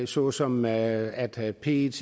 såsom at at pet